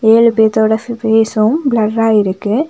ஏழு பேத்தொட ஃவ் ஃபேஸும் ப்ளர்ரா இருக்கு.